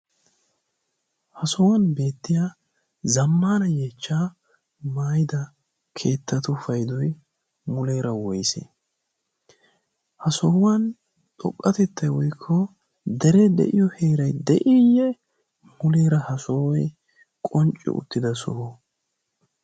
ha sohuwan beettiya zammana yeechcha maida keettatu paidoi muleera woise? ha sohuwan xoqqatettai woikko dere de7iyo heerai de7iiyye muleera ha sohoi qoncci uttida soho?